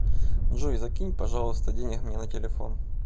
джой закинь пожалуйста денег мне на телефон